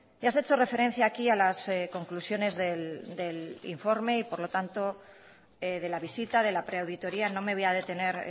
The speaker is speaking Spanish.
ya se ha hecho referencia aquí a las conclusiones del informe y por lo tanto de la visita de la preauditoría no me voy a detener